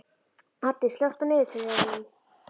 Addi, slökktu á niðurteljaranum.